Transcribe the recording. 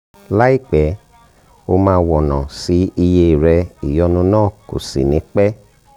láìpẹ́ o máa wọ̀nà sí iye rẹ ìyọ́nú náà kò sì ní pẹ́